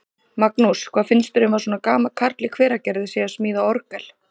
Magnús: Hvað finnst þér um að svona gamall karl í Hveragerði sé að smíða orgel?